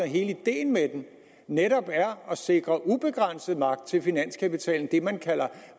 hele ideen med den netop er at sikre ubegrænset magt til finanskapitalen man taler